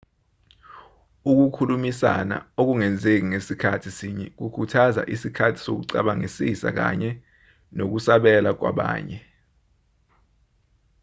ukukhulumisana okungenzeki ngasikhathi sinye kukhuthaza isikhathi sokucabangisisa kanye nokusabela kwabanye